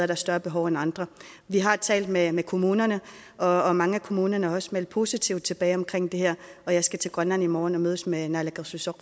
der større behov end andre vi har talt med med kommunerne og og mange af kommunerne har også meldt positivt tilbage omkring det her og jeg skal til grønland i morgen og mødes med naalakkersuisut